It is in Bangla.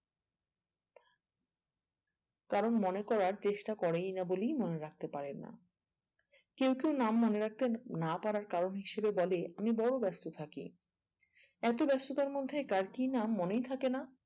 কারোর মনে করার চেষ্টা করেই না বলেই মনে করতে পারে না কেউ কেউ নাম মনে রাখতে না পাড়ার কারণ হিসাবে বলে আমি বোরো ব্যস্ত থাকি এত ব্যস্ততার মধ্যে কার কি নাম মনেই থাকে না